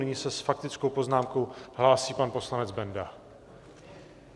Nyní se s faktickou poznámkou hlásí pan poslanec Benda...